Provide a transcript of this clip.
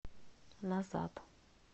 назад